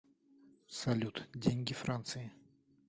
салют деньги франции